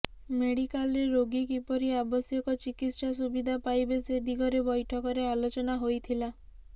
ମେଡିକାଲରେ ରୋଗୀ କିପରି ଆବଶ୍ୟକ ଚିକିତ୍ସା ସୁବିଧା ପାଇବେ ସେ ଦିଗରେ ବୈଠକରେ ଆଲୋଚନା ହୋଇଥିଲା